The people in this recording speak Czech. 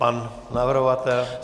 Pan navrhovatel?